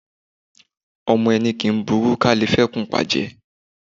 Ọmọ ẹni kì í burú ká le fẹ́kùn pa jẹ.